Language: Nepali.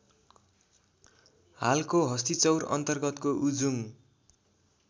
हालको हस्तिचौर अन्तर्गतको उजुङ